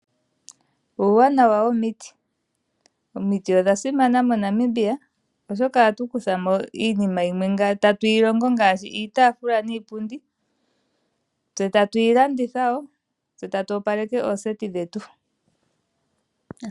Uunawana womiti. Omiti odha simana moNamibia oshoka ohatu kuthako iinima yimwe tatuyi longo ngaashi: iitaafula niipundi. Ohatu yi landitha woo eta tu opaleke ooseti dhetu.